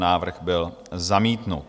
Návrh byl zamítnut.